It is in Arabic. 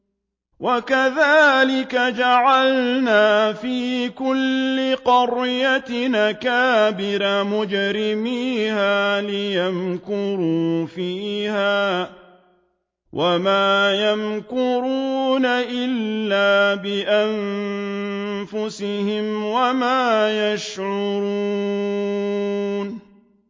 وَكَذَٰلِكَ جَعَلْنَا فِي كُلِّ قَرْيَةٍ أَكَابِرَ مُجْرِمِيهَا لِيَمْكُرُوا فِيهَا ۖ وَمَا يَمْكُرُونَ إِلَّا بِأَنفُسِهِمْ وَمَا يَشْعُرُونَ